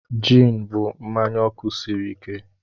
Jịn bụ mmanya ọkụ sịrị ike.